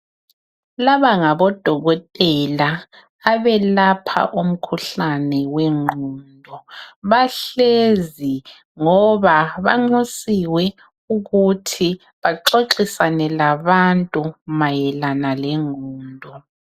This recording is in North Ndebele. Laba ngabodokotela abelapha umkhuhlane wengqondo. Bahlezi ngoba banxusiwe ukuthi baxoxisane labantu mayelana lengqondo.